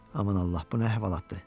Aman Allah, bu nə əhvalatdır?